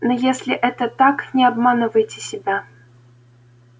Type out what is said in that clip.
но если это так не обманывайте себя